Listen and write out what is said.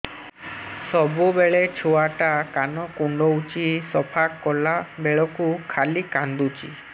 ସବୁବେଳେ ଛୁଆ ଟା କାନ କୁଣ୍ଡଉଚି ସଫା କଲା ବେଳକୁ ଖାଲି କାନ୍ଦୁଚି